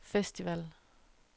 festival